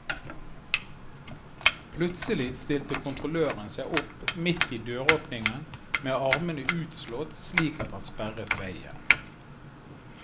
Plutselig stilte kontrolløren seg opp midt i døråpningen med armene utslått slik at han sperret veien.